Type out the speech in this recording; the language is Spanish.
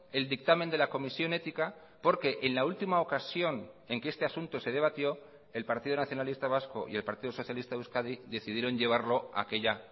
el dictamen de la comisión ética porque en la última ocasión en que este asunto se debatió el partido nacionalista vasco y el partido socialista de euskadi decidieron llevarlo a aquella